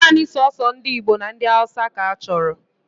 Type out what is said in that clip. Naanị soso ndị Igbo na ndị Hausa ka achọrọ